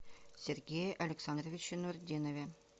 сергее александровиче нуртдинове